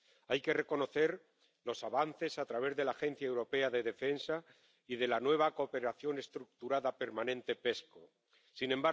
Hay que reconocer los avances a través de la Agencia Europea de Defensa y de la nueva cooperación estructurada permanente Sin